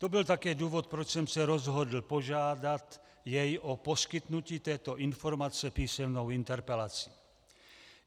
To byl také důvod, proč jsem se rozhodl požádat jej o poskytnutí této informace písemnou interpelací.